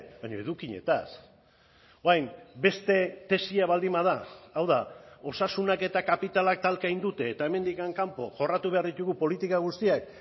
baina edukietaz orain beste tesia baldin bada hau da osasunak eta kapitalak talka egin dute eta hemendik kanpo jorratu behar ditugu politika guztiak